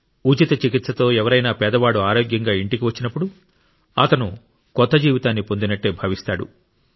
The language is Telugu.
ఉచిత చికిత్సతో ఎవరైనా పేదవాడు ఆరోగ్యంగా ఇంటికి వచ్చినప్పుడు అతను కొత్త జీవితాన్ని పొండినట్టే భావిస్తాడు